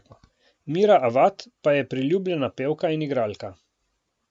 Mira Avad pa je priljubljena pevka in igralka.